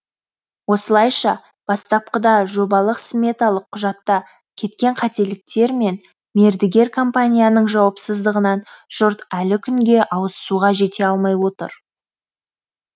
осылайша бастапқыда жобалық сметалық құжатта кеткен қателіктер мен мердігер компанияның жауапсыздығынан жұрт әлі күнге ауызсуға жете алмай отыр